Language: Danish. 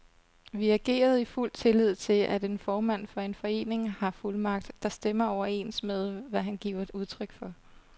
Vi agerede i fuld tillid til, at en formand for en forening har fuldmagt, der stemmer overens med, hvad han giver udtryk for.